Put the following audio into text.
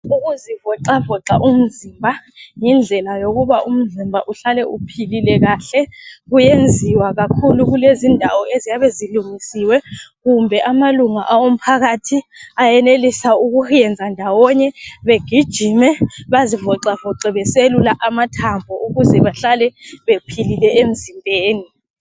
Ukuzivoxavoxa umzimba yindlela yokuba umzimba uhlale uphilile kahle. Kuyenziwa kakhulu kulezi indawo eziyabe zilungisiwe kumbe amalunga owomphakathi ayenelisa ukuyenza ndawonye begijime bazivoxavoxe beselula amathambo ukuze bahlale bephilile emzimbeni.